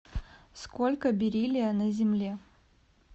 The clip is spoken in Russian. сколько бериллия на земле